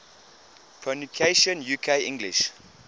pronunciations uk english